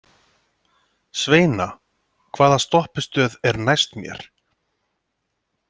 Sveina, hvaða stoppistöð er næst mér?